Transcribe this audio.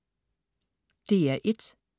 DR1: